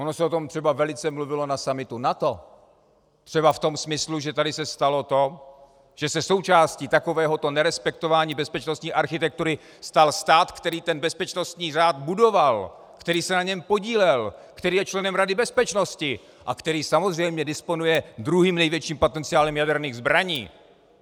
Ono se o tom třeba velice mluvilo na summitu NATO, třeba v tom smyslu, že tady se stalo to, že se součástí takovéhoto nerespektování bezpečnostní architektury stal stát, který ten bezpečnostní řád budoval, který se na něm podílel, který je členem Rady bezpečnosti a který samozřejmě disponuje druhým největším potenciálem jaderných zbraní.